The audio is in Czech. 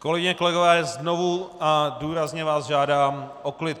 Kolegyně, kolegové, znovu a důrazně vás žádám o klid.